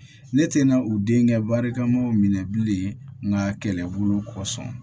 Ne tɛna u denkɛ barika mɔw minɛ bilen nka kɛlɛbugu kɔsɔn